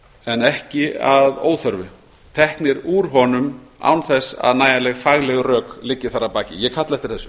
en ekki að óþörfu teknir úr honum án þess að nægileg fagleg rök liggi þar að baki ég kalla eftir þessu